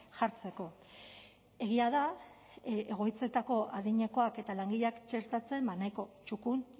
jartzeko egia da egoitzetako adinekoak eta langileak txertatzen nahiko txukun